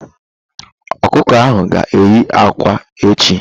Ọkụkọ ahụ ga eye ákwà echi.